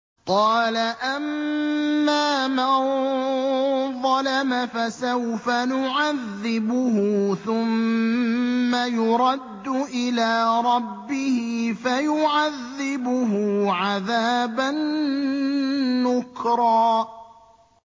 قَالَ أَمَّا مَن ظَلَمَ فَسَوْفَ نُعَذِّبُهُ ثُمَّ يُرَدُّ إِلَىٰ رَبِّهِ فَيُعَذِّبُهُ عَذَابًا نُّكْرًا